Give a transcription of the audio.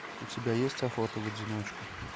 у тебя есть охота в одиночку